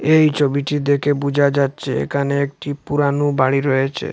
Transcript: এই ছবিটি দেখে বুঝা যাচ্ছে এখানে একটি পুরানো বাড়ি রয়েছে।